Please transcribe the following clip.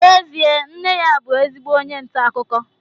n'ezie nne ya bụ ezigbo onye nta akụkọ